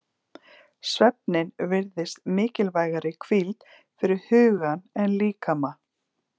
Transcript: Svefninn virðist mikilvægari hvíld fyrir hugan en líkama.